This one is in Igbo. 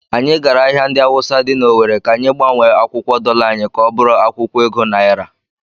Anyị gara ahịa ndị Awụsa dị n'Ọwere ka anyị gbanwee akwụkwọ dọla anyị ka ọ bụrụ akwụkwọ ego naira.